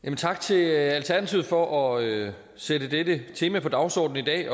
tak til alternativet for at sætte dette tema på dagsordenen i dag